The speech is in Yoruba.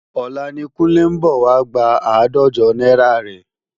Ọ̀la ni Kúnlé ń bọ̀ wá gba àádọ́jọ náírà rẹ̀